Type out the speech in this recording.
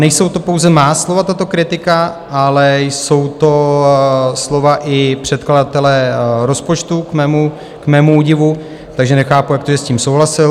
Nejsou to pouze má slova, tato kritika, ale jsou to slova i předkladatele rozpočtu k mému údivu, takže nechápu, jak to, že s tím souhlasil.